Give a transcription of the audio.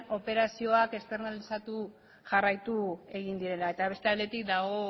operazioak externalizatzen jarraitu egin direla eta beste aldetik badago